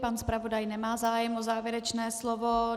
Pan zpravodaj nemá zájem o závěrečné slovo.